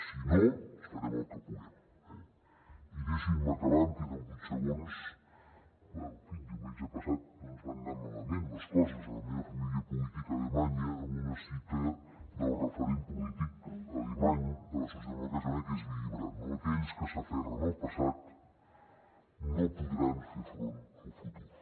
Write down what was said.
si no farem el que puguem eh i deixin me acabar em queden vuit segons en fi diumenge passat no ens van anar malament les coses a la meva família política alemanya amb una cita del referent polític alemany de la socialdemocràcia que és willy brandt no aquells que s’aferren al passat no podran fer front al futur